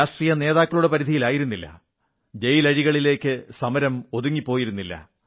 രാഷ്ട്രീയനേതാക്കളുടെ പരിധിയിലായിരുന്നില്ല ജയിലഴികൾക്കുള്ളിൽ സമരം ഒതുങ്ങിപ്പോയിരുന്നില്ല